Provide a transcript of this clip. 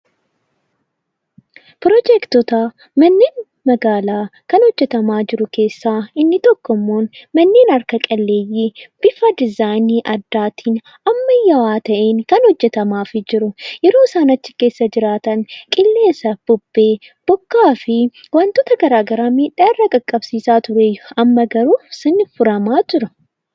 Pirojectoota manneen magaalaa kanneen hojjetamaa jiru keessaa inni tokko immoo manneen harka qalleeyyii bifa dizzaayinii addaatiin ammayyaawa ta'een hojjetamaafi jiru yeroo isa sana keessa jiraatan qilleensaa fi bubbee bokkaa fi wantoota garagaraa miidhaa irra qaqqabsiisaa ture. Amma garuu sun furamaa jira.